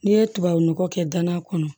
N'i ye tubabu nɔgɔ kɛ danna kɔnɔ